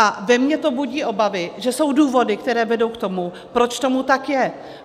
A ve mně to budí obavy, že jsou důvody, které vedou k tomu, proč tomu tak je.